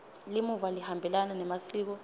limuva lihambelana nemasiko